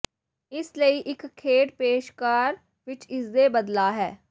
ਇਸ ਲਈ ਇੱਕ ਖੇਡ ਪੇਸ਼ਕਾਰ ਵਿੱਚ ਇਸ ਦੇ ਬਦਲਾਅ ਹੈ